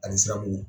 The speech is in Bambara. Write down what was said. Ani siramugu